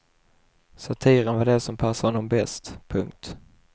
Satiren var det som passade honom bäst. punkt